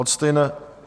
Od stejného...